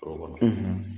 Foro kɔnɔ